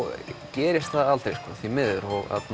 gerist það aldrei því miður